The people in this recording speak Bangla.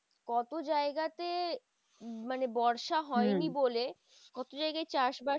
কত জায়গাতে মানে বর্ষা হয়নি বলে, কত জায়গায় চাষ বাস